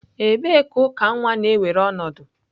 Ebee ka uka nwa na-ewere ọnọdụ?